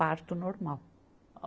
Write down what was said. Parto normal.